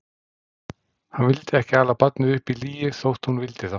Hann vildi ekki ala barnið upp í lygi þótt hún vildi það.